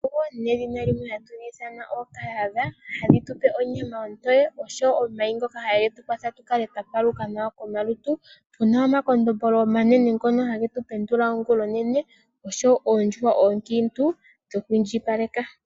Oondjuhwa, nedhina limwe hatu dhi ithana ookahadha, ohadhi tupe onyama ontoye, oshowo omayi ngoka hage tu kwatha tukale twa paluka nawa komalutu. Otuna omakondombolo omanene ngono hage tu pendula ongula onene, oshowo oondjuhwa oonkiintu dhoku indjipaleka.